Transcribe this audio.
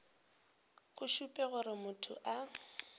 go šupe gore motho a